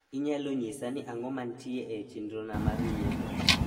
inyalo nyisa ni ang`o mantie e chenro na mar nyiepo